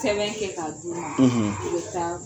Sɛbɛn kɛ k'a d'u ma; i bɛ taa